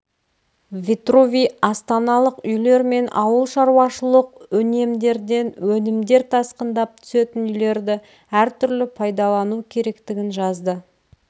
витрувий астаналық үйлер мен ауыл шаруашылық үнемдерден өнімдер тасқындап түсетін үйлерді әртүрлі пайдалану керектігін жазды